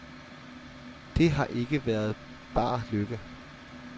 Det har ikke været bar lykke.